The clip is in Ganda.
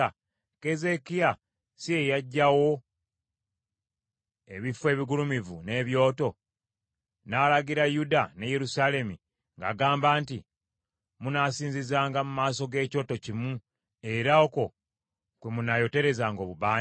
Keezeekiya si ye yaggyawo ebifo ebigulumivu n’ebyoto, n’alagira Yuda ne Yerusaalemi ng’agamba nti, “Munaasinzizanga mu maaso g’ekyoto kimu, era okwo kwe munaayoterezanga obubaane”?